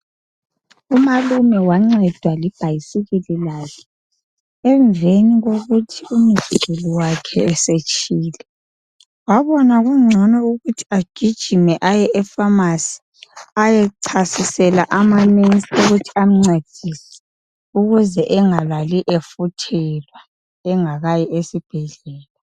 Umalume wancedwa libhayisikili lakhe emveni kokuthi umzukulu wakhe esetshile. Wabona kungcono ukuthi agijime aye epharmacy ayechasisela ama nurse ukuthi amncedise ukuze engalali efuthelwa engakayi esibhedlela.